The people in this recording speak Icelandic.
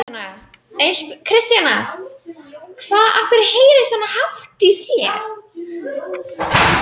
En ég var algjörlega ómeðvituð um hvað var að gerast.